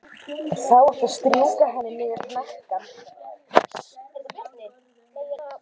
Þá áttu að strjúka henni niður hnakkann.